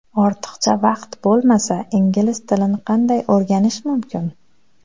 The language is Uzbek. Ortiqcha vaqt bo‘lmasa, ingliz tilini qanday o‘rganish mumkin?.